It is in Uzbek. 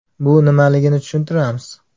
Bu nimaligini tushuntiramiz.